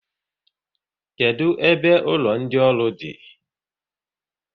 Kedụ ebe ụlọ ndị ọrụ di?